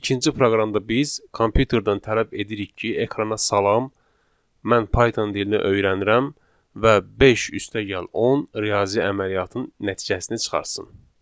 İkinci proqramda biz kompüterdən tələb edirik ki, ekrana salam, mən Python dilinə öyrənirəm və beş üstəgəl 10 riyazi əməliyyatın nəticəsini çıxartsın.